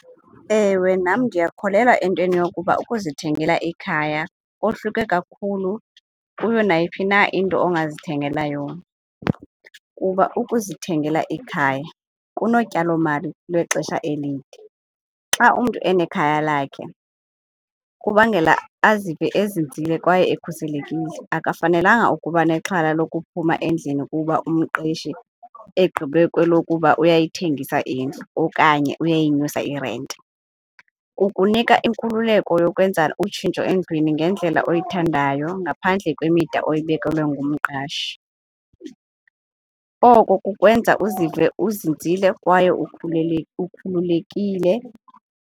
Ewe nam ndiyakholelwa entweni yokuba ukuzithengela ikhaya kohluke kakhulu kuyo nayiphi na into ongazithengela yona kuba ukuzithengela ikhaya kunotyalomali lwexesha elide. Xa umntu enekhaya lakhe kubangela azive ezinzile kwaye ekhuselekile, akafanelanga ukuba nexhala lokuphumla endlini kuba umqeshi egqibe kwelokuba uyayithengisa indlu okanye uyayinyusa irenti. Kukunika inkululeko yokwenza utshintsho endlwini ngendlela oyithandayo ngaphandle kwemida oyibekelwe ngumqashi. Oko kukwenza uzive uzinzile kwaye ukhulule ukhululekile.